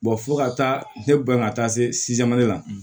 fo ka taa ne ban ka taa se la